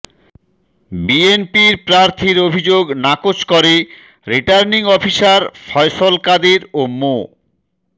বিএনপির প্রার্থীর অভিযোগ নাকচ করে রিটার্নিং অফিসার ফয়সল কাদের ও মো